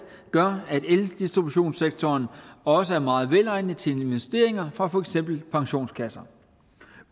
gør at eldistributionssektoren også er meget velegnet til investeringer fra for eksempel pensionskasser